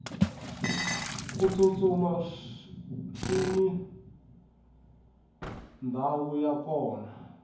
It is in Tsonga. ku tsutsuma swini ndhawu ya kona